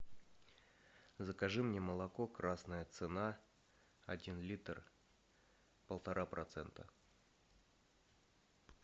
закажи мне молоко красная цена один литр полтора процента